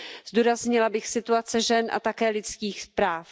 Zdůraznila bych situaci žen a také lidských práv.